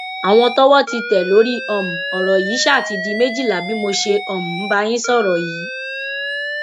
àwọn tọwọ ti tẹ lórí um ọrọ yìí ṣáà ti di méjìlá bí mo ṣe um ń bá yín sọrọ yìí